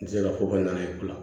N tɛ se ka fɔ ka na ye